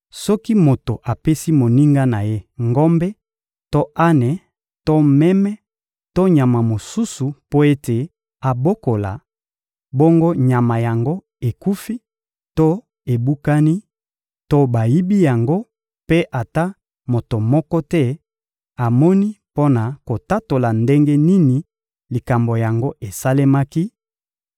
Soki moto apesi moninga na ye ngombe to ane to meme to nyama mosusu mpo ete abokola, bongo nyama yango ekufi to ebukani to bayibi yango mpe ata moto moko te amoni mpo na kotatola ndenge nini likambo yango esalemaki,